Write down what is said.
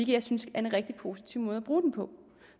jeg synes er en rigtig positiv måde at bruge den på